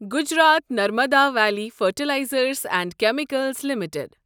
Gujarat Narmada valley fertilizers and chemicals limited